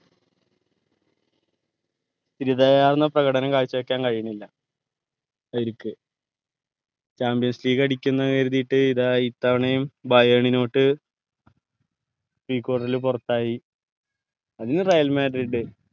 പ്രകടനം കാഴ്ച വെക്കാൻ കഴീണില്ല അവരിക്ക് Champions league അടിക്കുംന്ന് കരുതീട്ട് ഇതാ ഇത്തവണയും quarter ൽ പുറത്തായി Real Madrid